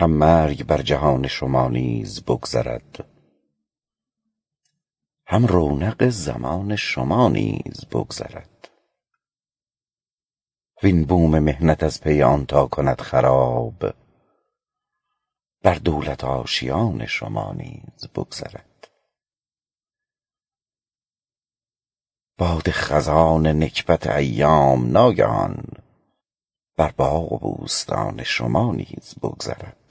هم مرگ بر جهان شما نیز بگذرد هم رونق زمان شما نیز بگذرد وین بوم محنت از پی آن تا کند خراب بر دولت آشیان شما نیز بگذرد باد خزان نکبت ایام ناگهان بر باغ و بوستان شما نیز بگذرد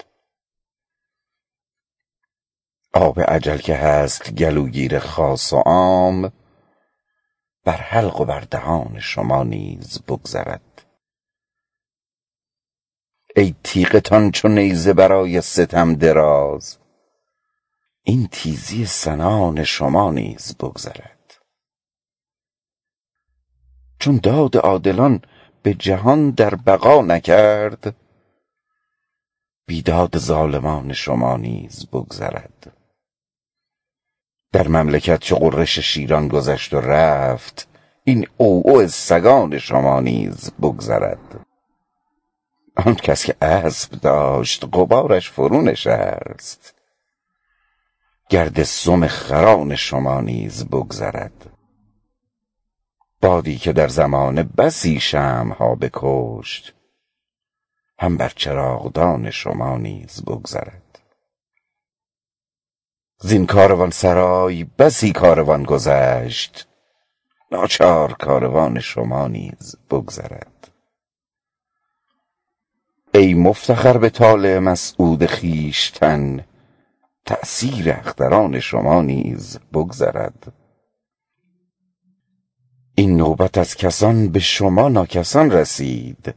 آب اجل که هست گلوگیر خاص و عام بر حلق و بر دهان شما نیز بگذرد ای تیغتان چو نیزه برای ستم دراز این تیزی سنان شما نیز بگذرد چون داد عادلان به جهان در بقا نکرد بیداد ظالمان شما نیز بگذرد در مملکت چو غرش شیران گذشت و رفت این عوعو سگان شما نیز بگذرد آن کس که اسب داشت غبارش فرونشست گرد سم خران شما نیز بگذرد بادی که در زمانه بسی شمع ها بکشت هم بر چراغدان شما نیز بگذرد زین کاروانسرای بسی کاروان گذشت ناچار کاروان شما نیز بگذرد ای مفتخر به طالع مسعود خویشتن تأثیر اختران شما نیز بگذرد این نوبت از کسان به شما ناکسان رسید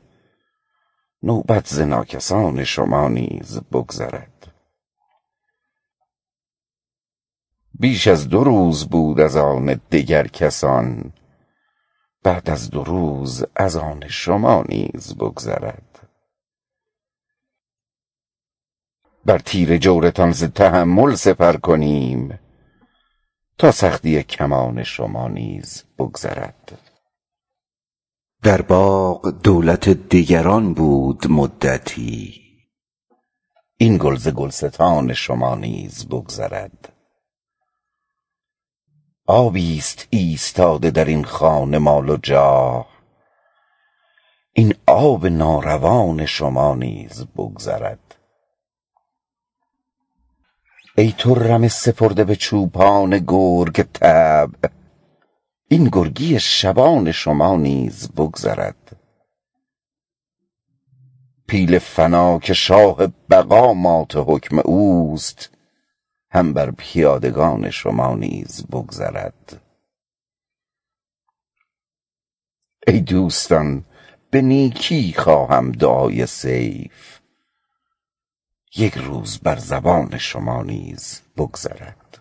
نوبت ز ناکسان شما نیز بگذرد بیش از دو روز بود از آن دگر کسان بعد از دو روز از آن شما نیز بگذرد بر تیر جورتان ز تحمل سپر کنیم تا سختی کمان شما نیز بگذرد در باغ دولت دگران بود مدتی این گل ز گلستان شما نیز بگذرد آبی ست ایستاده درین خانه مال و جاه این آب ناروان شما نیز بگذرد ای تو رمه سپرده به چوپان گرگ طبع این گرگی شبان شما نیز بگذرد پیل فنا که شاه بقا مات حکم اوست هم بر پیادگان شما نیز بگذرد ای دوستان خوهم که به نیکی دعای سیف یک روز بر زبان شما نیز بگذرد